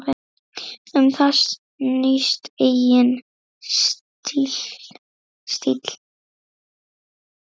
Um það snýst eigin stíll.